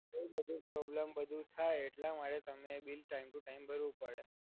બઉ બધુ પ્રોબ્લેમ બધુ થાય એટલા માટે તમારે બિલ ટાઇમ ટુ ટાઇમ ભરવું પડે.